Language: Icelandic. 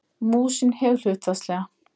Músin hefur hlutfallslega